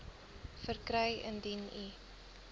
verkry indien u